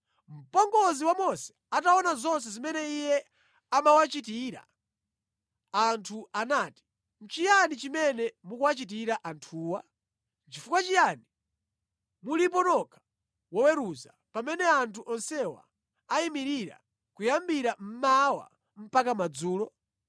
Mpongozi wa Mose ataona zonse zimene iye amawachitira anthu anati, “Nʼchiyani chimene mukuwachitira anthuwa? Nʼchifukwa chiyani mulipo nokha woweruza, pamene anthu onsewa ayimirira kuyambira mmawa mpaka madzulo?”